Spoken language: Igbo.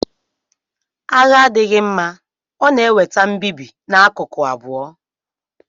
Agha adịghị mma; ọ na-eweta mbibi n'akụkụ abụọ.